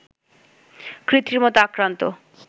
কৃত্রিমতা আক্রান্ত